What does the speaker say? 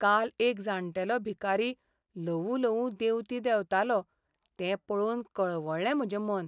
काल एक जाण्टेलो भिकारी ल्हवू ल्हवू देंवती देंवतालो तें पळोवन कळवळ्ळें म्हजें मन.